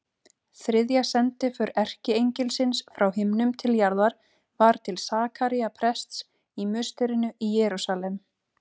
Þriðja sendiför erkiengilsins frá himnum til jarðar var til Sakaría prests í musterinu í Jerúsalem.